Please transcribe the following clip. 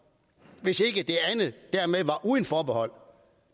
hvis ikke det andet dermed var uden forbehold